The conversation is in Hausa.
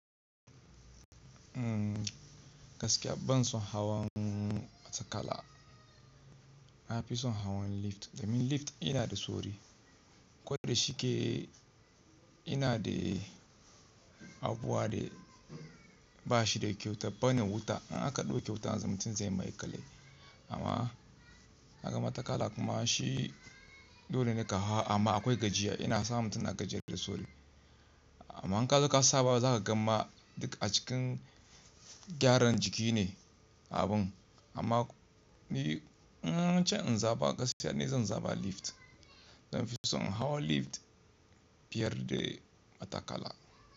Gaskiya ban son hawan matakala. Na fi son hawan lift domin lift yana da sauri, ko da shike yana da abuwa da ba shi da kyauta bane wuta. In aka ɗau kyauta yanzu mutum zai maiƙale. Amma na ga matakala kuma shi dole ne ka hau amma akwai gajiya. Yana sa mutum na gajiya da sauri. Amma in ka zo ka saba za ka gan ma duk a cikin gyaran jiki ne abun. Amma ni in ce in zaɓa gaskiya ne zan zaba lift. Zan fi son in hau lift fiye da matakala.